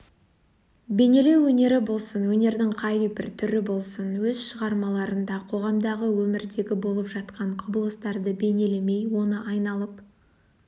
бейнелеу өнері болсын өнердің қай бір түрі болсын өз шығармаларында қоғамдағы өмірдегі болып жатқан құбылыстарды бейнелемей оны айналып